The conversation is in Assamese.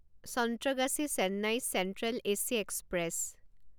Santragachi Chennai central AC express